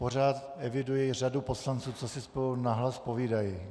Pořád eviduji řadu poslanců, co si spolu nahlas povídají.